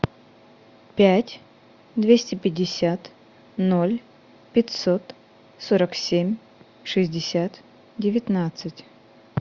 пять двести пятьдесят ноль пятьсот сорок семь шестьдесят девятнадцать